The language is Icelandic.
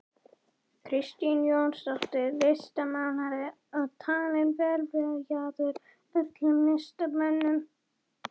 Kristínu Jónsdóttur listmálara og talinn velviljaður öllum listamönnum.